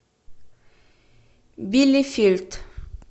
билефельд